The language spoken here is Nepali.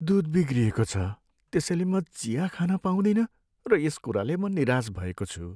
दुध बिग्रिएको छ त्यसैले म चिया खान पाउँदिनँ र यस कुराले म निराश भएको छु।